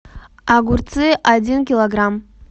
огурцы один килограмм